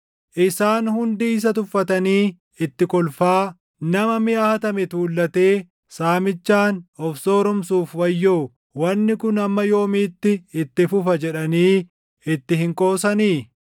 “Isaan hundi isa tuffatanii itti kolfaa, “ ‘Nama miʼa hatame tuullatee saamichaan of sooromsuuf wayyoo! Wanni kun hamma yoomiitti itti fufa’ // jedhanii itti hin qoosanii?